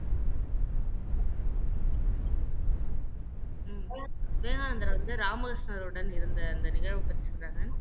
ஹம் விவேகானந்தர் வந்து ராமகிருஷ்ணருடன் இருந்த அந்த நிகழ்வைப் பத்தி சொல்றாங்க